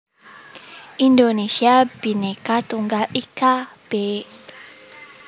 Indonesia Bhinneka Tunggal Ika b